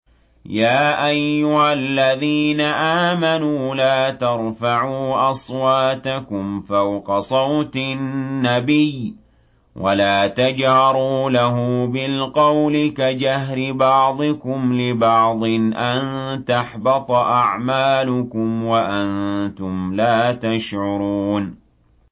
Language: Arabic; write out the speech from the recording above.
يَا أَيُّهَا الَّذِينَ آمَنُوا لَا تَرْفَعُوا أَصْوَاتَكُمْ فَوْقَ صَوْتِ النَّبِيِّ وَلَا تَجْهَرُوا لَهُ بِالْقَوْلِ كَجَهْرِ بَعْضِكُمْ لِبَعْضٍ أَن تَحْبَطَ أَعْمَالُكُمْ وَأَنتُمْ لَا تَشْعُرُونَ